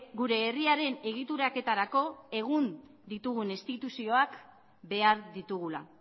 gure herriaren egituraketarako egun ditugun instituzioak behar ditugula